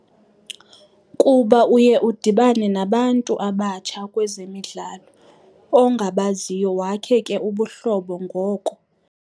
Kuba uye udibane nabantu abatsha kwezemidlalo ongabaziyo wakhe ke ubuhlobo ngoko.